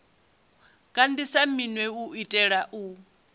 kandise minwe u itela u